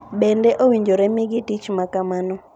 “Bende, owinjore omigi tich ma kamano.”